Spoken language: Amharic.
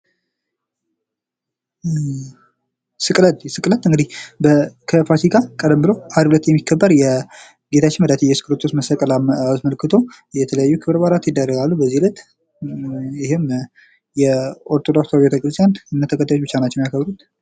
ስቅለት፤ ስቅለት እንግዲህ ከፋሲካ ቀደም ብሎ አርብ ለት የሚከበር የጌታችን የመድሃኒታችን የኢየሱስ ክርስቶስ መሰቀልን አስመልክቶ የተለያዩ ክብረ በአላት ይካሄዳሉ፤ በዛ ላይ ይህም የኦርቶዶክስ ቤተክርስቲያን እምነት ተከታዮች ብቻ ናቸው የሚያከብሩት።